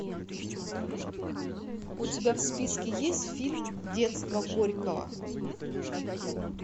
у тебя в списке есть фильм детство горького